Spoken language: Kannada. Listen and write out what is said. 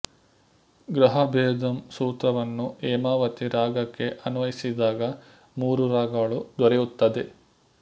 ಗ್ರಹಭೇದಮ್ ಸೂತ್ರವನ್ನು ಹೇಮಾವತಿ ರಾಗಕ್ಕೆ ಅನ್ವಯಿಸಿದಾಗ ಮೂರು ರಾಗಗಳು ದೊರೆಯುತ್ತದೆ